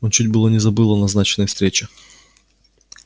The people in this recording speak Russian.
он чуть было не забыл о назначенной встрече